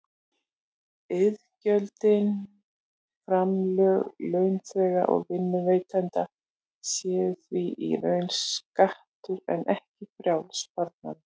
Iðgjöldin, framlög launþega og vinnuveitenda, séu því í raun skattur en ekki frjáls sparnaður.